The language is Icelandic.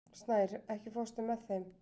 Snær, ekki fórstu með þeim?